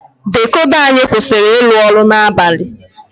Dikoda anyị kwụsịrị ịrụ ọrụ n'abalị.